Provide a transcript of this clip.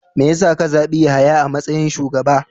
Me ya sa ka zabi Yahaya a matsayin shugaba?